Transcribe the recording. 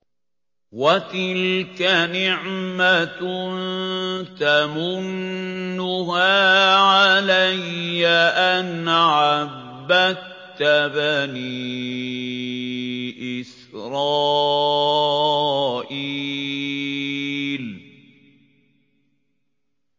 وَتِلْكَ نِعْمَةٌ تَمُنُّهَا عَلَيَّ أَنْ عَبَّدتَّ بَنِي إِسْرَائِيلَ